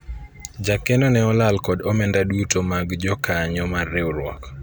jakeno ne olal kod omenda duto mag jokanyo mar riwruok